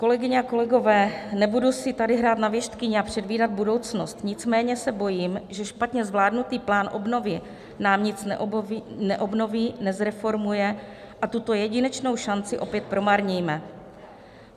Kolegyně a kolegové, nebudu si tady hrát na věštkyni a předvídat budoucnost, nicméně se bojím, že špatně zvládnutý plán obnovy nám nic neobnoví, nezreformuje a tuto jedinečnou šanci opět promarníme.